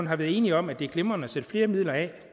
har været enige om at det er glimrende at sætte flere midler af